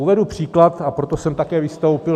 Uvedu příklad, a proto jsem také vystoupil.